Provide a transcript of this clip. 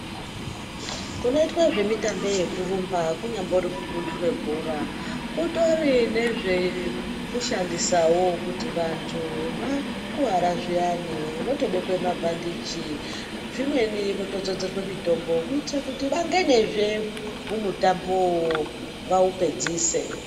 Kunoitwe zvemitambo yekurumba kunyambori kupumbura bhora kutori nezvekushandisavo kuti antu vakuvara zviyani votobekwe mabhandichi, zvimweni zviyani votodzodzwe mitombo kuitire kuti vangenizve mumutambovo vaupedzise.